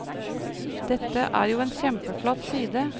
Dette er jo en kjempeflott side.